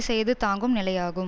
செய்து தாங்கும் நிலையாகும்